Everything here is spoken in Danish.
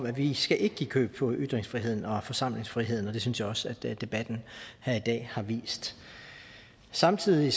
at vi ikke skal give køb på ytringsfriheden og forsamlingsfriheden og det synes jeg også debatten her i dag har vist samtidig